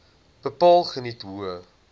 bepaal geniet hoë